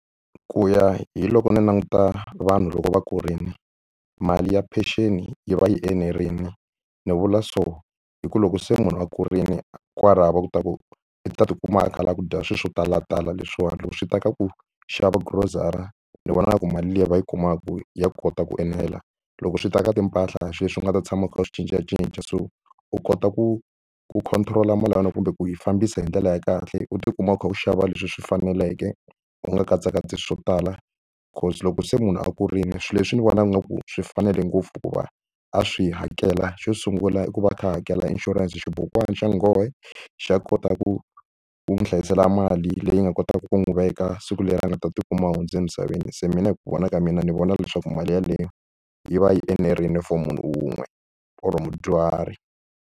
Ku ya hi loko ni languta vanhu loko va kurile mali ya pension yi va yi enerile ni vula so hi ku loko se munhu a kurile kwalaho va kota ku u ta tikuma a kha a lava ku dya swilo swo talatala leswiwani loko swi ta ka ku xava grocery ni vonaka ku mali liya va yi kumaka ya kota ku enela loko swi ta ka timpahla a hi swilo leswi u nga ta tshama u kha u cincacinca so u kota ku ku control-a mali ya yena kumbe ku yi fambisa hi ndlela ya kahle u tikuma u kha u xava leswi swi faneleke u nga katsakatsi swo tala because loko se munhu a kurile swilo leswi ni vonaka ingaku swi fanele ngopfu hikuva a swi hakela xo sungula i ku va a kha a hakela insurance xibukwana xa nghohe xa kota ku wu hlayisa sala mali leyi nga kotaka ku n'wi veka siku leri a nga ta tikuma a hundze emisaveni se mina hi ku vona ka mina ni vona leswaku mali yeleyo yi va yi enerile for munhu wun'we or mudyuhari.